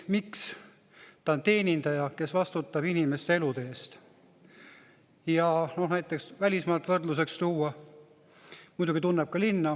Ta on teenindaja, kes vastutab inimeste elude eest, muidugi tunneb ka linna.